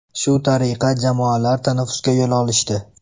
Shu tariqa jamoalar tanaffusga yo‘l olishdi.